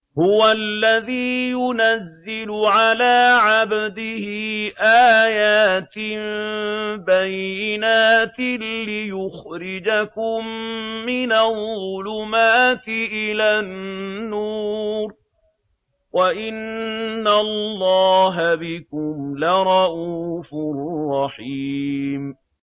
هُوَ الَّذِي يُنَزِّلُ عَلَىٰ عَبْدِهِ آيَاتٍ بَيِّنَاتٍ لِّيُخْرِجَكُم مِّنَ الظُّلُمَاتِ إِلَى النُّورِ ۚ وَإِنَّ اللَّهَ بِكُمْ لَرَءُوفٌ رَّحِيمٌ